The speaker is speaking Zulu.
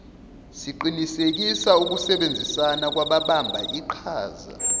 siqinisekise ukusebenzisana kwababambiqhaza